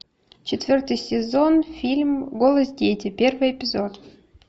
четвертый сезон фильм голос дети первый эпизод